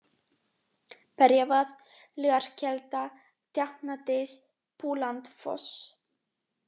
Berjavað, Laugarkelda, Djáknadys, Búlandsfoss